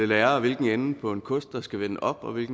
lære hvilken ende på en kost der skal vende opad